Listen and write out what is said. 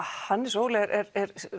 Hannes Óli er